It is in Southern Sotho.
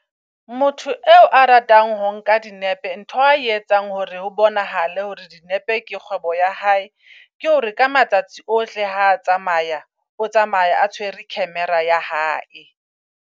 Motho eo a ratang ho nka dinepe ntho ae etsang hore ho bonahala hore dinepe ke kgwebo ya hae. Ke hore ka matsatsi ohle ha tsamaya o tsamaya a tshwere camera-a ya hae.